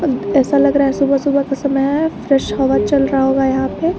ऐसा लग रहा है सुबह सुबह का समय है फ्रेश हवा चल रहा होगा यहां पे।